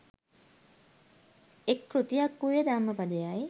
එක් කෘතියක් වූයේ ධම්මපදයයි.